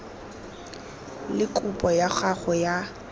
le kopo ya gago ya